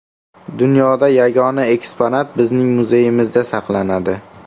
Dunyoda yagona eksponat bizning muzeyimizda saqlanadi.